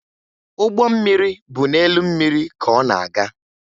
Ụgbọ mmiri bụ n'elu mmiri ka ọ na-aga